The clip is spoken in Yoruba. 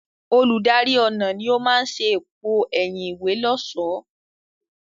Olùdarí ọnà ni ó máa ṣe èpo ẹ̀yìn ìwé lọ́ṣọ̀ọ́.